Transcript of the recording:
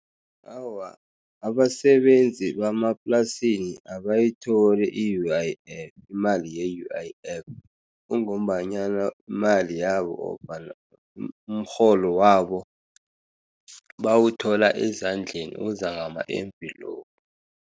Awa, abasebenzi bemaplasini abayitholi i-U_I_F, imali ye-U_I_F. Kungombanyana imali yabo umrholo wabo bawuthola ezandleni, uza ngama-envelope.